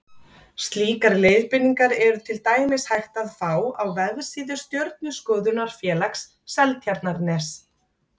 Slíkar leiðbeiningar er til dæmis hægt að fá á vefsíðu Stjörnuskoðunarfélags Seltjarnarness.